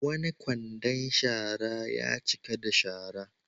Wani kwandon shara ya cika da shara.